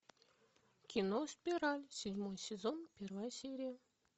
кино спираль седьмой сезон первая серия